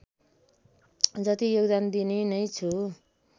जति योगदान दिने नै छु